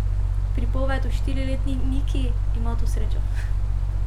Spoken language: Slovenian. Pripoved o štiriletni Niki ima to srečo.